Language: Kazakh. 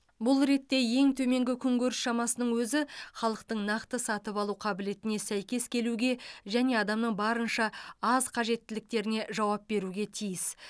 бұл ретте ең төменгі күнкөріс шамасының өзі халықтың нақты сатып алу қабілетіне сәйкес келуге және адамның барынша аз қажеттіліктеріне жауап беруге тиіс